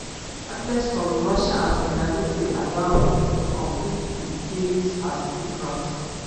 athletes from russia and belarus dey allowed to complete for di games as neutrals.